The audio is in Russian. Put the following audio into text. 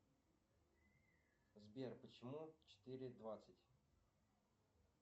сбер почему четыре двадцать